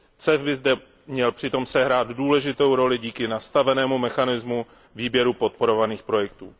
CEF by zde měl přitom sehrát důležitou roli díky nastavenému mechanismu výběru podporovaných projektů.